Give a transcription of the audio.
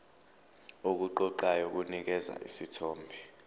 okuqoqayo kunikeza isithombe